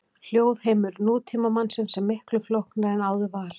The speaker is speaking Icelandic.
Hljóðheimur nútímamannsins er miklu flóknari en áður var.